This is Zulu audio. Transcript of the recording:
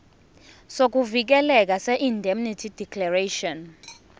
sokuvikeleka seindemnity declaration